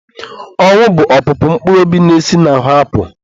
Ọnwụ bụ opụpụ mkpụrụ obi na-esi n'ahụ apụ.